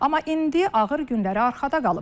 Amma indi ağır günləri arxada qalıb.